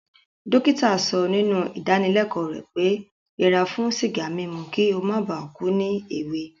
Dókítà so nínú ìdáníleko rẹ̀ pé yẹra fún sìgá mímu ki o mó ba ku ni èwe